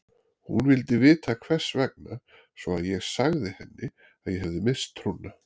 Hún vildi vita hvers vegna svo að ég sagði henni að ég hefði misst trúna.